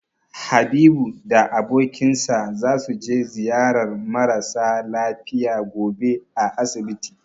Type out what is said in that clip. Habibu da abokinsa zasu je ziyarar mara sa lafiya gobe a asibiti.